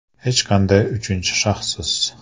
Hech qanday uchinchi shaxssiz!